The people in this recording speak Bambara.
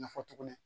Nafa tuguni